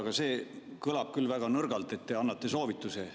Aga see kõlab küll väga nõrgalt, et te annate soovituse.